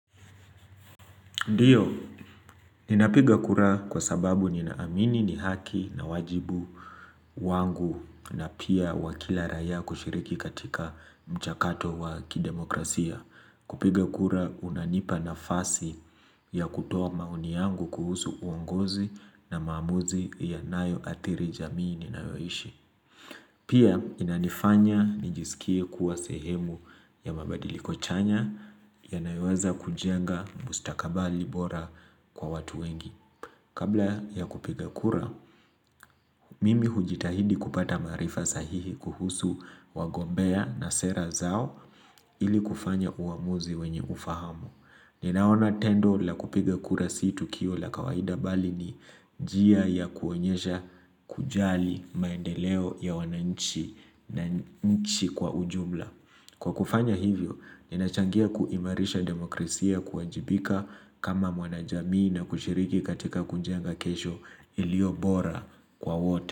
Ndio, ninapiga kura kwa sababu ninaamini ni haki nawajibu wangu, na pia wa kila raia kushiriki katika mchakato wa kidemokrasia. Kupiga kura kunanipa nafasi, ya kutoa maoni yangu kuhusu uongozi na maamuzi yanayo adhiri jamii ninayoishi. Pia inanifanya nijisikie kuwa sehemu ya mabadiliko chanya ya naiweza kujenga mustakabali bora kwa watu wengi. Kabla ya kupiga kura, mimi hujitahidi kupata maarifa sahihi kuhusu wagombea na sera zao, ili kufanya uamuzi wenye ufahamu. Ninaona tendo la kupiga kura si tukio la kawaida mbali ni njia ya kuonyesha kujali maendeleo ya wananchi na nchi kwa ujumla. Kwa kufanya hivyo, ninachangia kuimarisha demokrasia, kuwajibika kama mwana jamii na kushiriki katika kunjenga kesho ilio bora kwa wote.